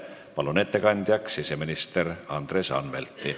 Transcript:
Palun ettekandjaks siseminister Andres Anvelti!